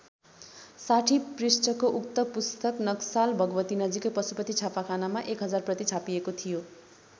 ६० पृष्ठको उक्त पुस्तक नक्साल भगवती नजिकै पशुपति छापाखानामा १ हजारप्रति छापिएको थियो।